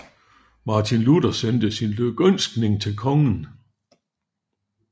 Martin Luther sendte sin lykønskning til kongen